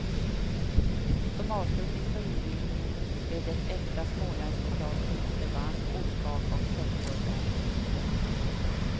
Som avslutning på invigningen blev det äkta småländskt kalas på isterband, ostkaka och köttbullar.